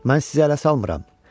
Mən sizi ələ salmıram.